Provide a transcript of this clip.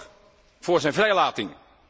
Zorg voor zijn vrijlating.